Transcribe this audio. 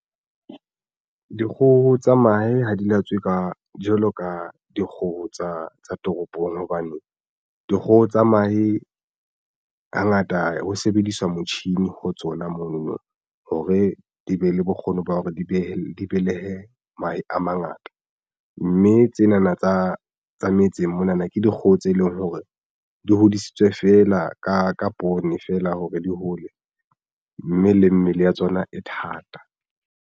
Dikgoho tsa mahe ha di latswe ka jwalo ka dikgoho tsa toropong. Hobane dikgoho tsa mahe hangata ho sebediswa motjhini ho tsona monono hore di be le bokgoni ba hore di behe di belehe mahe a mangata, mme tsena na tsa metseng mona na ke dikgoho tse leng hore di hodisitswe feela ka poone feela hore di hole, mme le mmele ya tsona e thata.